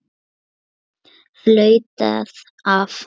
Flautað af.